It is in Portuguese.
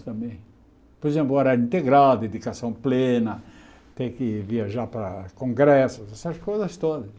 Por exemplo, horário integrado, dedicação plena, ter que viajar para congressos, essas coisas todas.